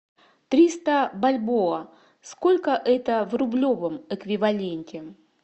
триста бальбоа сколько это в рублевом эквиваленте